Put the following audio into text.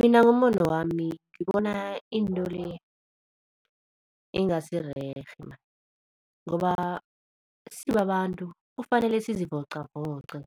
Mina ngombono wami, ngibona into le ingasi rerhe maan, ngoba sibabantu kufanele sizivocavoce.